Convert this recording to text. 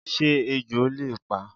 Sé ejò le pa?